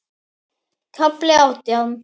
KAFLI ÁTJÁN